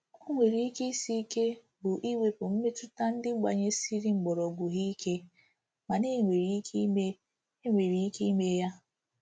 O nwere ike isi ike bụ iwepụ mmetụta ndị gbanyesịrị mgbọrọgwụ ha ike, mana e nwere ike ime nwere ike ime ya.